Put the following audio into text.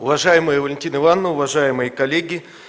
уважаемая валентина ивановна уважаемые коллеги